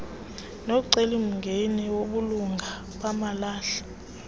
nomcelimngeni wobulunga bamalahle